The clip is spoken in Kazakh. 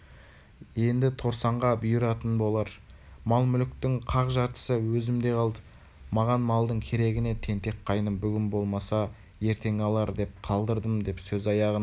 енді торсанға бұйыратын болар мал-мүліктің қақ жартысы өзімде қалды маған малдың керегі не тентек қайным бүгін алмаса ертең алар деп қалдырдым деп сөз аяғын